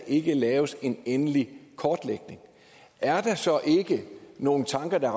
ikke lave en endelig kortlægning er der så ikke nogle tanker der